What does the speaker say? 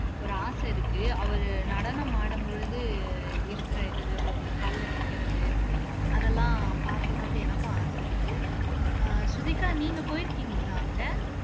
ஒரு ஆசை இருக்கு அவரு நடனமாடும் பொழுது இருக்கிற இதுவே ஒத்த கால்ல நிக்கிறது அதெல்லாம் பார்க்கணும்னுட்டு எனக்கும் ஆசை இருக்கு அஹ் ஸ்ருதிகா நீங்க போய் இருக்கீங்களா அங்க